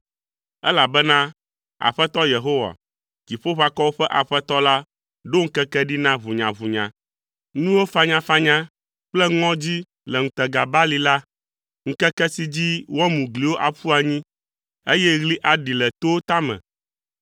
elabena Aƒetɔ Yehowa, Dziƒoʋakɔwo ƒe Aƒetɔ la ɖo ŋkeke ɖi na ʋunyaʋunya, nuwo fanyafanya kple ŋɔdzi le ŋutega balime la, ŋkeke si dzi woamu gliwo aƒu anyi, eye ɣli aɖi le towo tame.